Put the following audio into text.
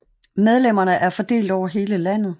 Medlemmerne er fordelt over hele landet